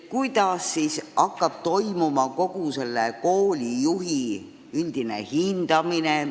Kuidas siis kogu see koolijuhtide üldine hindamine toimuma hakkab?